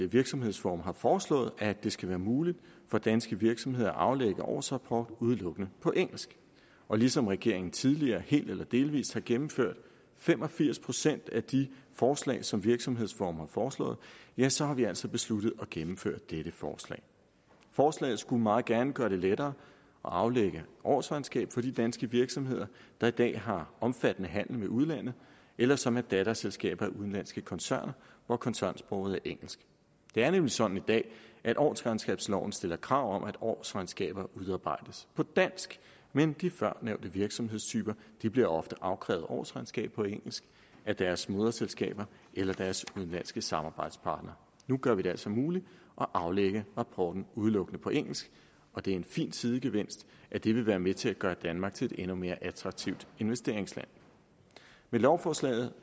virksomhedsforum har foreslået at det skal være muligt for danske virksomheder at aflægge årsrapport udelukkende på engelsk og ligesom regeringen tidligere helt eller delvist har gennemført fem og firs procent af de forslag som virksomhedsforum har foreslået ja så har vi altså besluttet at gennemføre dette forslag forslaget skulle meget gerne gøre det lettere at aflægge årsregnskab for de danske virksomheder der i dag har omfattende handel med udlandet eller som er datterselskaber af udenlandske koncerner hvor koncernsproget er engelsk det er nemlig sådan i dag at årsregnskabsloven stiller krav om at årsregnskaber udarbejdes på dansk men de førnævnte virksomhedstyper bliver ofte afkrævet årsregnskaber på engelsk af deres moderselskaber eller deres udenlandske samarbejdspartnere nu gør vi det altså muligt at aflægge rapporten udelukkende på engelsk og det er en fin sidegevinst at det vil være med til at gøre danmark til et endnu mere attraktivt investeringsland med lovforslaget